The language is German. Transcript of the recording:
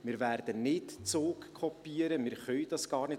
Wir werden nicht Zug kopieren, wir können das gar nicht.